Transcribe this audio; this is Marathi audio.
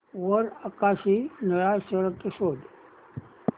वर आकाशी निळा शर्ट शोध